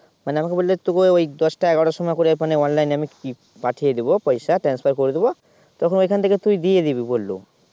মানে আমাকে বলল তোকে ওই দশটা এগারোটার সময় করে মানে Online এ আমি কি পাঠিয়ে দেবো পয়সা transfer করে দেবো তখন ওখান থেকে তুই দিয়ে দিবি বললো